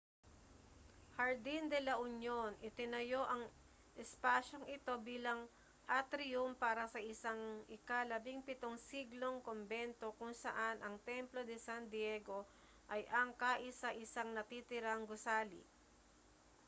jardín de la union itinayo ang espasyong ito bilang atriyum para sa isang ika-17 siglong kumbento kung saan ang templo de san diego ay ang kaisa-isang natitirang gusali